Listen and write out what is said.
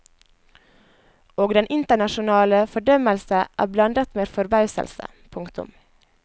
Og den internasjonale fordømmelse er blandet med forbauselse. punktum